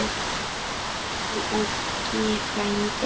Elsku Elli frændi.